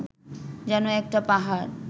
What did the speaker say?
যেন একটা পাহাড়